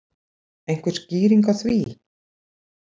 Einhver skýring á því?